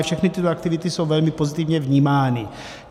A všechny tyto aktivity jsou velmi pozitivně vnímány.